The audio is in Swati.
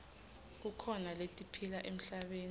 kukhona letiphila emhlabeni